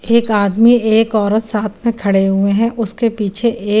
एक आदमी एक औरत साथ में खडे हुए हैं उसके पीछे ए --